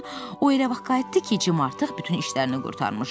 amma o elə vaxt qayıtdı ki, Cim artıq bütün işlərini qurtarmışdı.